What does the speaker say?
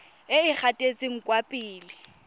e e gatetseng kwa pele